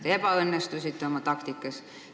Teie taktikavalik ebaõnnestus.